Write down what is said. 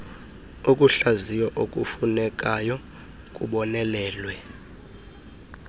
ukuhlaziywa okufunekayo kubonelelwe